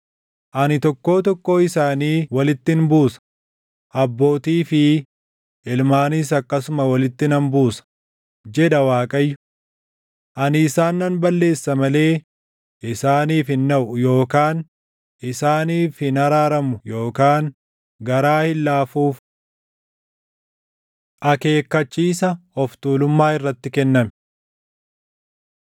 Ani tokkoo tokkoo isaanii walittin buusa; abbootii fi ilmaanis akkasuma walitti nan buusa, jedha Waaqayyo. Ani isaan nan balleessa malee isaaniif hin naʼu yookaan isaaniif hin araaramu yookaan garaa hin laafuuf.’ ” Akeekkachiisa Of tuulummaa Irratti Kenname